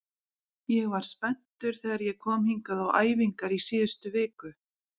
Ég var spenntur þegar ég kom hingað á æfingar í síðustu viku.